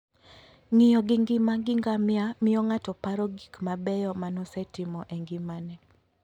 Ng'iyo gi ngima gi ngamia miyo ng'ato paro gik mabeyo ma nosetimo e ngimane.